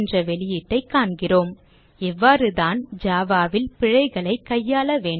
என்ற வெளியீட்டைக் காண்கிறோம் இவ்வாறு தான் java ல் பிழைகளைக் கையாள வேண்டும்